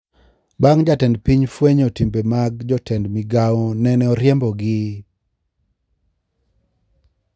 Bang` jatend piny fwenyo timbe mag jotend migao nene oriembo gi